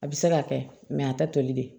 A bɛ se ka kɛ a ta toli de